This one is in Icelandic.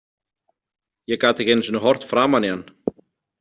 Ég gat ekki einu sinni horft framan í hann.